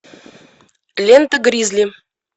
лента гризли